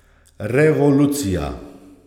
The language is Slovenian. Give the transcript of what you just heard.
Revolucija.